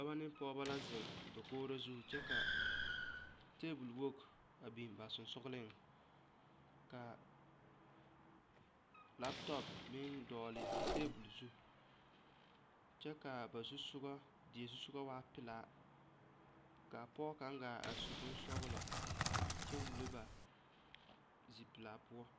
Dɔba ne pɔgeba la zeŋ dakogre zu kyɛ ka table wogi a biŋ ba sensogleŋ ka laptop meŋ dɔgle a table zu kyɛ kaa ba zu soga die zu soga waa pelaa ka a pɔge kaŋ gaa are su bonsɔglɔ kyɛ wullo ba zipelaa poɔ.